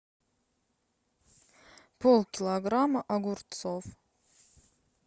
полкилограмма огурцов